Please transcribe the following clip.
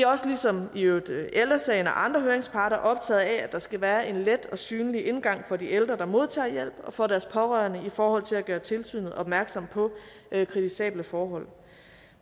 også ligesom i øvrigt ældre sagen og andre høringsparter optaget af at der skal være en let og synlig indgang for de ældre der modtager hjælp og for deres pårørende i forhold til at gøre tilsynet opmærksom på kritisable forhold